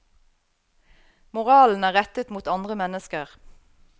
Moralen er rettet mot andre mennesker.